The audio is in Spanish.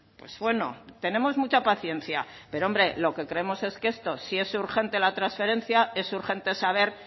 pues bueno tenemos mucha paciencia pero hombre lo que creemos es que esto si es urgente la transferencia es urgente saber